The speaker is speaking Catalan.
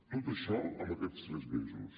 tot això en aquests tres mesos